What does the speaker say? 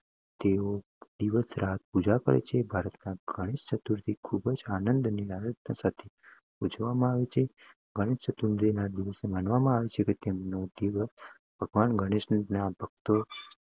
તેઓ દિવસ રાત પૂજા કરે છે. ભારતમાં ગણેશ ચતુર્થી ખૂબ આનંદ અને આરાધના સાથે ઉજવવામાં આવે છે. ગણેશ ચતુર્થીને તે દિવસ માનવામાં આવે છે કે જેના દિવસે ભગવાન ગણેશ તેમના ભક્તો